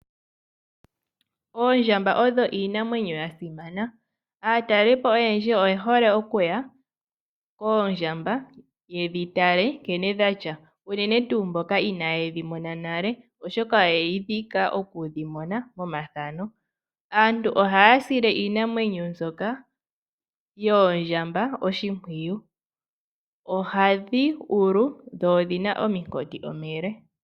Oondjamba odho iinamwenyo ya simana. Aatalelipo oyendji oye hole okuya koondjamba ye dhi tale nkene dha tya, unene tuu mboka inaaye dhi mona nale, oshoka oye dhi igilila oku dhi mona monafano. Aantu ohaya sile iinamwenyo mbyoka yoondjamba oshimpwiyu. Ohadhi ulu, dho odhi na ominkoti omile.